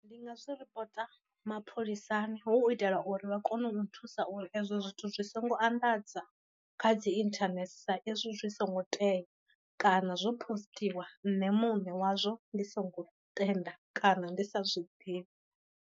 Ndi nga zwi ripota mapholisani hu u itela uri vha kone u nthusa uri ezwo zwithu zwi songo anḓadza kha dzi internet sa izwi zwi songo tea, kana zwo posṱiwa nṋe muṋe wazwo ndi songo tenda kana ndi sa zwi ḓivhi.